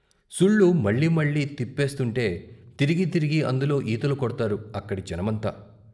సుళ్ళు మళ్ళీ మళ్ళీ తిప్పేస్తుంటే తిరిగి తిరిగి అందులో ఈతలు కొడ్తారు అక్కడి జనమంతా.